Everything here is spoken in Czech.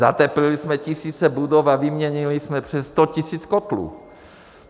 Zateplili jsme tisíce budov a vyměnili jsme přes 100 tisíc kotlů.